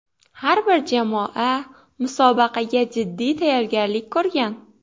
Har bir jamoa musobaqaga jiddiy tayyorgarlik ko‘rgan.